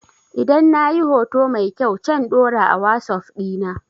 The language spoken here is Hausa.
Idan na yi hoto mai kyau can ɗora a wasuf dina